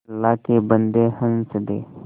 अल्लाह के बन्दे हंस दे